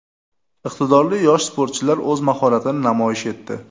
Iqtidorli yosh sportchilar o‘z mahoratini namoyish etdi.